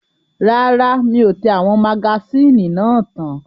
Rárá, mi ò tẹ àwọn magasíìnì náà tán.